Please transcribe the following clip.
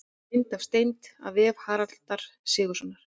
Mynd af steind: af vef Haraldar Sigurðssonar.